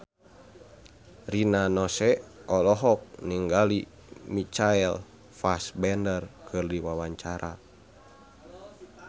Rina Nose olohok ningali Michael Fassbender keur diwawancara